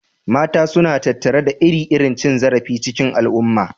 Mata suna tattare da ire-iren cin zarafi cikin al'umma.